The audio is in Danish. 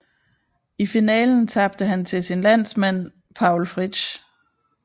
I finalen tabte han til sin landsmand Paul Fritsch